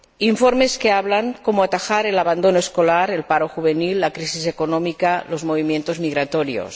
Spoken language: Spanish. informes que hablan de cómo atajar el abandono escolar, el paro juvenil, la crisis económica y los movimientos migratorios.